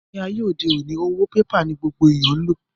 Ní ayé òde òni, owó oní pépà ní gbogbo ayé ń lò